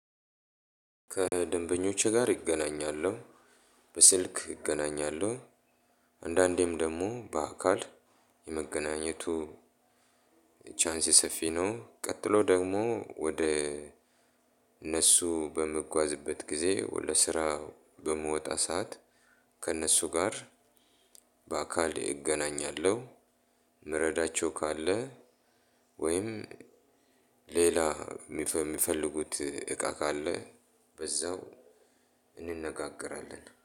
ከደንበኞቼ ጋር እገናኛለው በስልክ እገናኛለው። አንዳንዴም ደግሞ ባካል የመገናኘቱ ቻንስ ሰፊ ነው። ቀጥሎ ደግሞ ወደ እነሱ በምጓዝበት ጊዜ ወደ ስራ በምወጣ ሰዓት ከእነሱ ጋር በአካል እገናኛለሁ። ምረዳቸው ካለ ወይም ሌላ ሚፈልጉት እቃ ካለ በዛው እንነጋገራለን